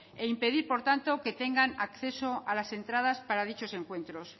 e impedir por tanto que tengan acceso a las entradas para dichos encuentros